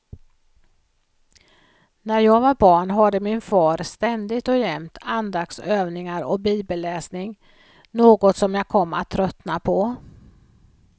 När jag var barn hade min far ständigt och jämt andaktsövningar och bibelläsning, något som jag kom att tröttna på.